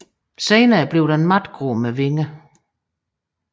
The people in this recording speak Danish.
Senere bliver den matgrå med vinger